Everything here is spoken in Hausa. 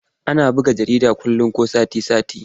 Ana buga jarida kullum ko sati-sati.